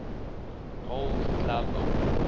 gold glove award